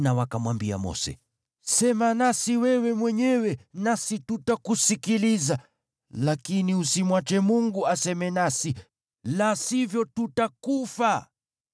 na wakamwambia Mose, “Sema nasi wewe mwenyewe, nasi tutakusikiliza. Lakini usimwache Mungu aseme nasi, la sivyo tutakufa.”